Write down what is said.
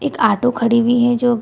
एक आटो खड़ी हुई है जो --